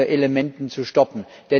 Elementen zu stoppen.